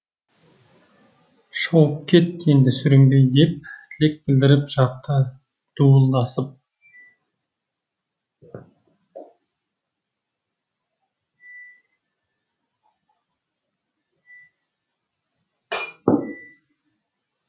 шауып кет енді сүрінбей деп тілек білдіріп жатты дуылдасып